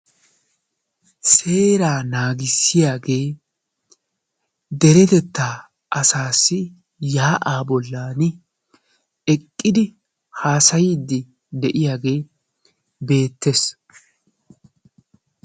Seeraa naagissiyagee deretettaa asaassi yaa'aa bollan eqqidi haasayiiddi de'iyagee beettes.